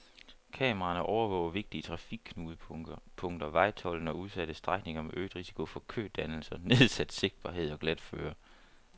Kameraerne overvåger vigtige trafikknudepunkter, vejtolden og udsatte strækninger med øget risiko for kødannelser, nedsat sigtbarhed og glatføre.